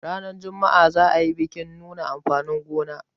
ranar Juma'a za a yi bikin nuna amfanin gona